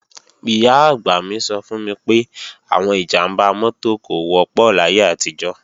Ìyá-àgbà mi sọ fún mi pé, àwọn ìjàmbá mọ́tò kò wọ́pọ̀ láyé àtijọ́